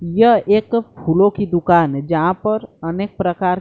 यह एक फूलों की दुकान है जहां पर अनेक प्रकार--